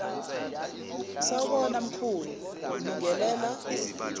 sawubona mkhulu kubingelela